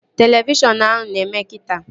Televishọn ahụ na-eme kita